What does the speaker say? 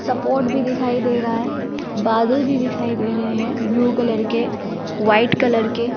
support भी दिखाई दे रहा है बादल भी दिखाई दे रहे हैं ब्लू कलर के वाइट कलर के --